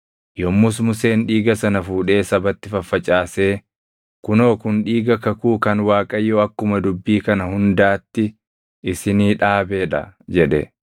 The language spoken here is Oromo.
Yommus Museen dhiiga sana fuudhee sabatti faffacaasee, “Kunoo kun dhiiga kakuu kan Waaqayyo akkuma dubbii kana hundaatti isinii dhaabee dha” jedhe.